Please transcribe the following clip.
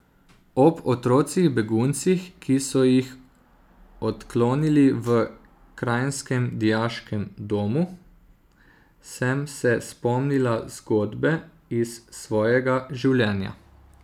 Ob otrocih beguncih, ki so jih odklonili v kranjskem dijaškem domu, sem se spomnila zgodbe iz svojega življenja.